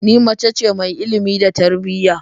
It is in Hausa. Ni mace ce mai ilimi da tarbiyya